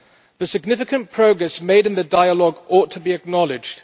The significant progress made in the dialogue ought to be acknowledged.